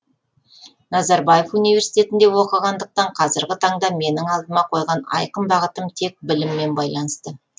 назарбаев университетінде оқығандықтан қазіргі таңда менің алдыма қойған айқын бағытым тек біліммен байланысты